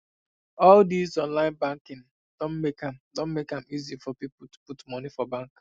all these online banking doh make am doh make am easy for people to put money for bank